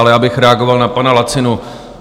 Ale já bych reagoval na pana Lacinu.